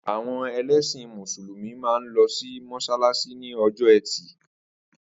Àwo̩n e̩lésìn Mùsùlùmí máa ń lo̩ sí mó̩s̩álás̩í ní o̩jó̩ E̩tì